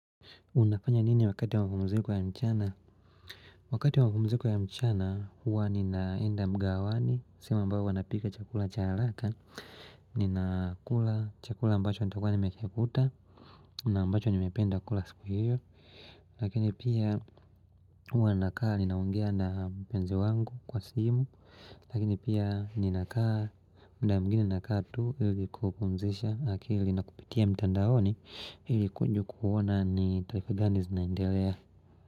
Unafanya nini wakati wa mapumziko ya mchana? Wakati wa mapumziko ya mchana huwa ninaenda mgahawani sehemu ambayo wanapika chakula cha haraka Ninakula chakula ambacho nitakuwa nimekikuta na ambacho nimependa kula siku hiyo Lakini pia huwa nakaa ninaongea na mpenzi wangu kwa simu Lakini pia ninakaa muda mwingine nakaa tu Hili kupumzisha akili na kupitia mtandaoni hili kuona ni tarifa gani zinaendelea.